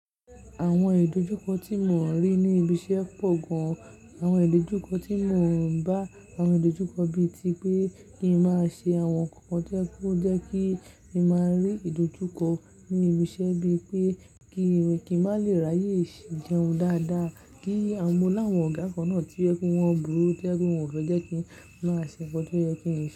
Àwọn ìdojúkọ tí mò ń rí ní ibi iṣẹ́ pọ̀ gan. Àwọn ìdojúkọ tí mò ń bá àwọn ìdojúkọ bíi ti pé kí n máa ṣe àwọn nkan kàn tó jẹ pẹ kó jẹ́ kí n máa rí ìdojúkọ ní ibi iṣẹ́ bíi pé kí n má lè ráyè ṣì jẹun dáadáa, kí mo láwọn ọ̀gá kan náà tí o jẹ pẹ wọn burú tí o jẹ pẹ wọn fẹ jẹ kí n máa ṣẹ̀ nkán tó yẹ kí n.